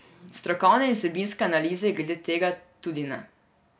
Strokovne in vsebinske analize glede tega tudi ne.